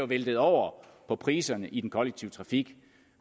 væltet over på priserne i den kollektive trafik